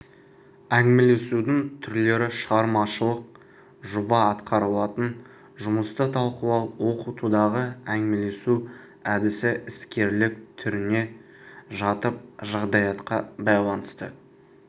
әңгімелесудің түрлері шығармашылық жоба атқарылатын жұмысты талқылау оқытудағы әңгімелесу әдісі іскерлік түріне жатып жағдаятқа байланысты